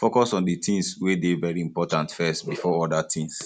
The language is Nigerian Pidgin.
focus on di things wey dey very important first before oda things